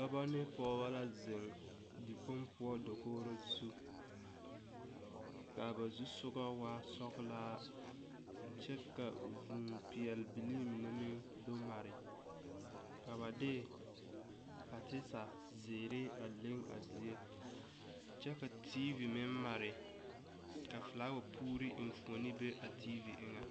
Dɔbɔ ne pɔgɔbɔ la zeŋ dikpong poʊ dakoore zu. Ka ba zu soɔgo waa sɔglaa kyɛ ka vuu piɛle bilii mene meŋ do mare. Ka ba de patesa ziire a leŋ a zie. Kyɛ ka TV meŋ mare. Ka fulawa puure eŋfuone be a TV eŋe